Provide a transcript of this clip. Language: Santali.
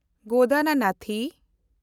ᱜᱚᱫᱚᱱᱟᱱᱟᱛᱤ